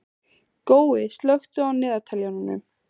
Gói, slökktu á niðurteljaranum.